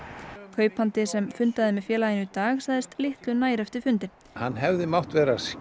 kaupandi sem fundaði með félaginu í dag sagðist litlu nær eftir fundinn hann hefði mátt vera